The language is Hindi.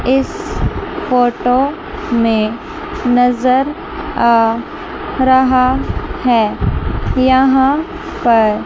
इस फोटो में नजर आ रहा है यहां पर--